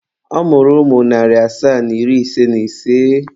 Ọ mụrụ ụmụ narị asaa na iri ise na ise.